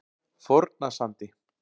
Fornasandi